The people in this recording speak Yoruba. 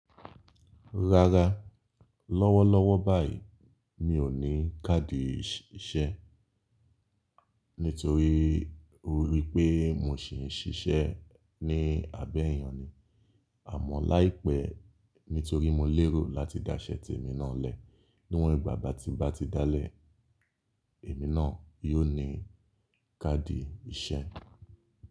Rárá, lọ́wọ́lọ́wọ́ báyìí mi ò ní káàdì iṣẹ́ nítorí ó rí pé mo ṣì ń ṣiṣẹ́ ní abé èyàn ni. Àmọ́ láìpẹ́ nítorí mo lérò láti da iṣẹ́ ti èmi náà lẹ̀, níwọ̀n ìgbà ba tí n bá ti dálẹ̀, èmi náà yóò ní káàdì iṣẹ́.